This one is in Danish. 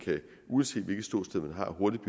uanset hvilket ståsted man har hurtigt